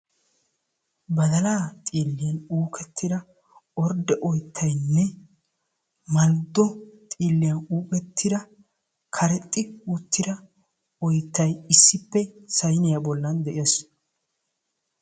Badallaa xiiliyan uukettida orde oytaynne malddo xiiliyan uuketida karexxi uttida oyttay issippe saynniya bolan de'ees.